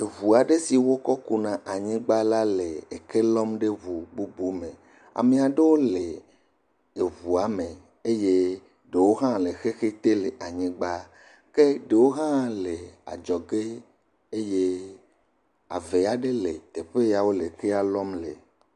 Eŋu aɖe si wokɔkuna anyigba la le eke lɔm ɖe ŋu bubu me ame aɖewo le eŋua me eye ɖewo hã le adzɔ ge eye ave aɖe le teƒe ya wole ekea lɔm le. Ame aɖewo le ŋuame eye ɖewo le xexi te le anyigba.